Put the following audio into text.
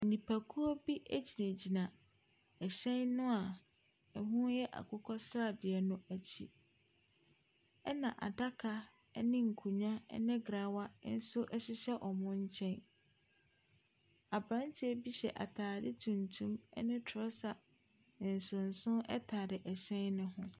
Nipakuo bi gyinagyina ɛhyɛn no a ɛho yɛ akokɔsradeɛ no akyi, ɛna adaka ne nkonnwa ne grawa nso hyehyɛ wɔ nkyɛn. Aberanteq bi hyq atadeq tuntum ne trɔsa nsonso tare hyɛn no ho.